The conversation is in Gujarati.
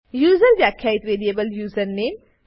યુઝર વ્યાખ્યિત વેરીએબલ યુઝરનેમ